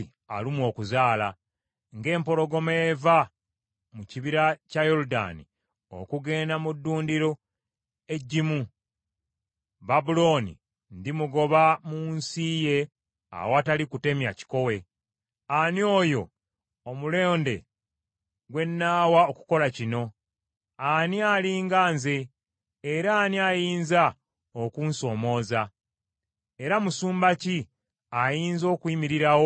Ng’empologoma eva mu kibira kya Yoludaani okugenda mu ddundiro eggimu, Babulooni ndimugoba mu nsi ye awatali kutemya kikowe. Ani oyo omulonde gwe nnaawa okukola kino? Ani ali nga nze, era ani ayinza okunsomooza? Era musumba ki ayinza okuyimirirawo okumpakanya?”